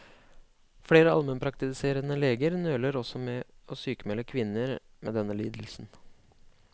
Flere almenpraktiserende leger nøler også med å sykmelde kvinner med denne lidelsen.